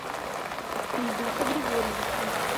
ильдуса григорьевича